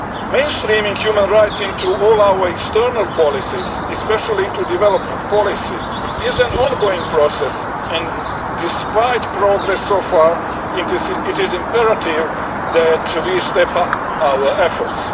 Mainstreaming human rights into all our external policies, especially into development policy, is an ongoing process and, despite progress so far, it is imperative that we step up our efforts.